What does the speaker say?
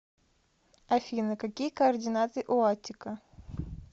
афина какие координаты у аттика